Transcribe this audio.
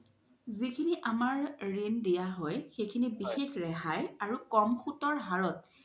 যিখিনি আমাৰ ৰিন দিয়া হয় সিখিনি বিশেষ ৰেহাই আৰু ক্'ম সুতৰ হাৰত